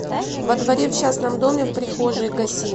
во дворе в частном доме в прихожей гаси